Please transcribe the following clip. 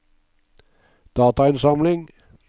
datainnsamling